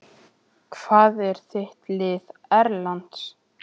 Óhug sló á marga við þessi endurteknu ótíðindi.